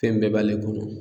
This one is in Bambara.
Fɛn bɛɛ b'ale kɔnɔ.